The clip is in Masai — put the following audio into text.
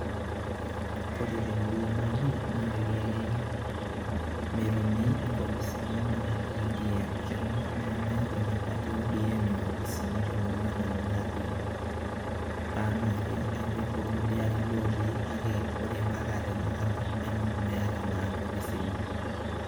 Kore te murrua natii naake metumi inkopisini naa e ODM, keng'or naa meeta ina party e ODM inkopisini te murrua nanu natii anake epik tolkurie arrin lotii ake ore mpaka o tena kata neng'or meeta naa inkopisini.